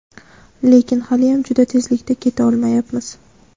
lekin haliyam juda tezlikda keta olmayapmiz.